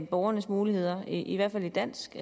borgernes muligheder i hvert fald i dansk